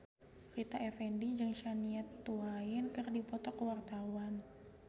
Rita Effendy jeung Shania Twain keur dipoto ku wartawan